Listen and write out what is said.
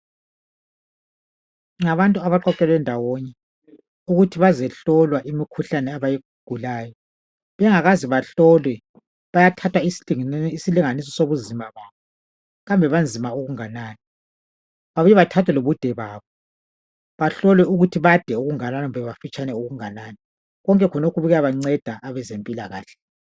ngabantu abaphathelwe ndawonye ukuthi bazehlolwe imikhuhlane abayigulayo bengaze bahlolwe bayathatha isilinganiso sobunzima kwabo kambe banzima okungakanani babuye bathe lobude kwabo bahlolwe ukuthi bade okungakanani kumbe bafitshane okungakanani konke khonokho kuyabanceda abadokotela